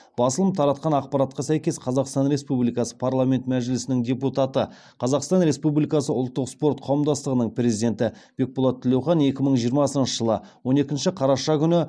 басылым таратқан ақпаратқа сәйкес қазақстан республикасы парламенті мәжілісінің депутаты қазақстан республикасы ұлттық спорт қауымдастығының президенті бекболат тілеухан екі мың жиырмасыншы жылы он екінші қараша күні